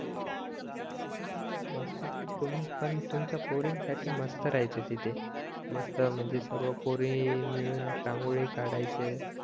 तुम्ही पण तुमच्या पोरींसाठी मस्त राहायचे तिथे मस्त म्हणजे सर्व पोरी मिळून रांगोळी काढायचे